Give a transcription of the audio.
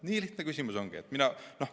Nii lihtne küsimus ongi.